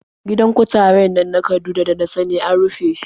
Gidan kutaren nan na Kaduna da na sani an rushe shi.